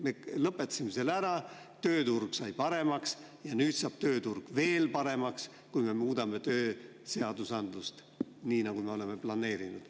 Me lõpetasime selle ära, tööturg sai paremaks ja nüüd saab tööturg veel paremaks, kui me muudame tööseadusandlust, nii nagu me oleme planeerinud.